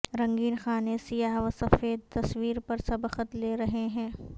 رنگین خانے سیاہ و سفید تصویر پر سبقت لے رہے ہیں